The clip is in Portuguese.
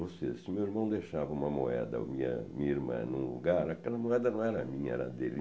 Ou seja, se meu irmão deixava uma moeda, ou minha minha irmã, em um lugar, aquela moeda não era minha, era dele.